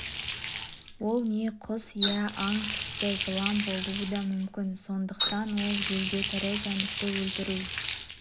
ол не құс иә аң тіпті жылан болуы да мүмкін сондықтан ол елде тірі жәндікті өлтіру